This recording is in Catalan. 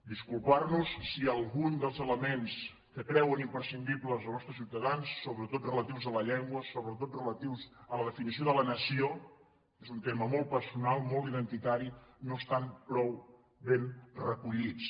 disculpar·nos si algun dels elements que creuen im·prescindibles els nostres ciutadans sobretot relatius a la llengua sobretot relatius a la definició de la nació que és un tema molt personal molt identitari no estan prou ben recollits